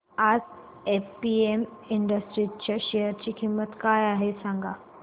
आज APM industries च्या share ची किंमत काय आहे सांगा